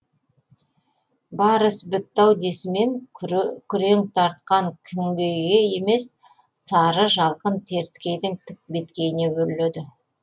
бар іс бітті ау десімен күрең тартқан күңгейге емес сары жалқын теріскейдің тік беткейіне өрледі